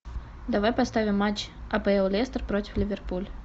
давай поставим матч апл лестер против ливерпуль